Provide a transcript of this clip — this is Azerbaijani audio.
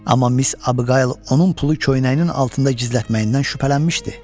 Amma Miss Abiqayıl onun pulu köynəyinin altında gizlətməyindən şübhələnmişdi.